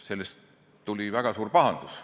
Sellest tuli väga suur pahandus.